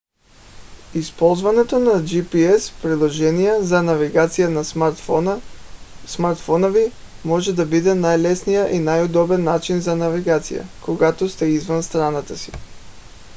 използването на gps приложения за навигация на смартфона ви може да бъде най-лесният и удобен начин за навигация когато сте извън страната си